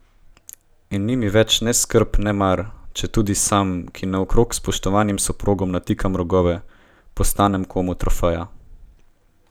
In ni mi več ne skrb ne mar, če tudi sam, ki naokrog spoštovanim soprogom natikam rogove, postanem komu trofeja.